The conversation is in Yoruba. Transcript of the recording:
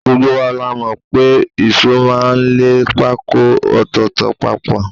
Gbogbo wa la mọ̀ pé ìṣó máa ń lẹ pákó ọ̀tọ̀ọ̀tọ̀ papọ̀